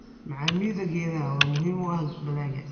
Macaamida geedaha midhaha waa muhiim u ah dalagga.